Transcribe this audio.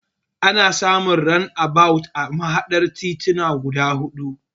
Ana samun randabawut a mahaɗar tituna guda huɗu.